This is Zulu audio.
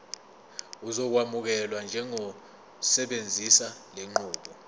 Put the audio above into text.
uzokwamukelwa njengosebenzisa lenqubo